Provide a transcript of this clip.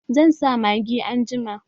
Zan sa magi anjima